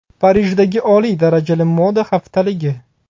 Parijdagi oliy darajali moda haftaligi .